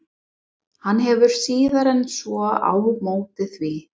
Hann hefur síður en svo á móti því.